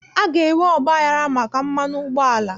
A ga-enwe ọgbaghara maka mmanụ ụgbọala